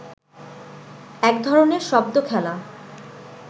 এক ধরনের শব্দ খেলা